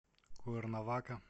куэрнавака